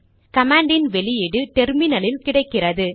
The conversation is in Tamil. கமாண்டின் அவுட்புட் டெர்மினலில் கிடைக்கிறது